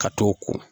Ka t'o ko